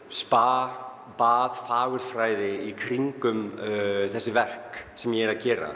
spa fagurfræði í kringum þessi verk sem ég er að gera